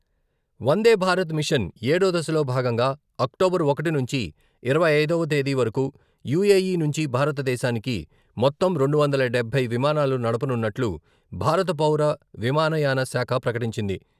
వందే Bharat mission ఏడో దశలో భాగంగా అక్టోబర్ ఒకటి నుంచి ఇరవై ఐదవ తేదీ వరకు యూఏఈ నుంచి భారతదేశానికి మొత్తం రెండు వందల డబ్బై విమానాలు నడపనున్నట్లు భారత పౌర విమానయాన శాఖ ప్రకటించింది.